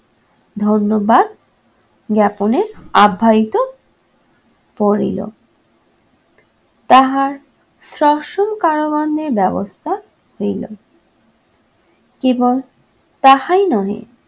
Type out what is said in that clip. ধন্যবাদ জ্ঞাপনে আব্যাহিত পড়িল । তাহার সশ্রম কারাদণ্ডের ব্যবস্থা হইল কেবল তাহাই নয়